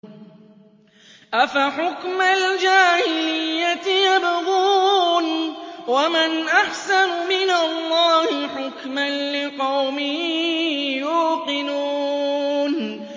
أَفَحُكْمَ الْجَاهِلِيَّةِ يَبْغُونَ ۚ وَمَنْ أَحْسَنُ مِنَ اللَّهِ حُكْمًا لِّقَوْمٍ يُوقِنُونَ